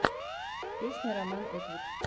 песня роман этвуд